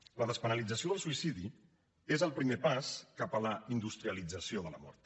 la despenalització del suïcidi és el primer pas cap a la industrialització de la mort